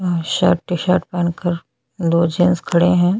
Shirt T shirt पहन कर दो जेंट्स खड़े है।